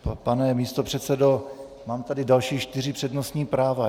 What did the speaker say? Pane místopředsedo, mám tady další čtyři přednostní práva.